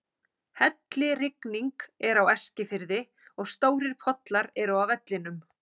Hellirigning er á Eskifirði og stórir pollar eru á vellinum.